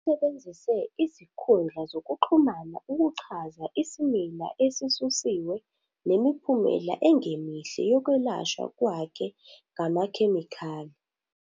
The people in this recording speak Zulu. Usebenzise izinkundla zokuxhumana ukuchaza isimila esisusiwe nemiphumela engemihle yokwelashwa kwakhe ngamakhemikhali.